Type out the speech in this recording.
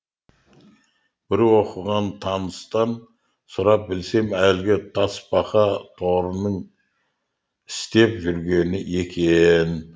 бір оқыған таныстан сұрап білсем әлігі тасбақа торының істеп жүргені екен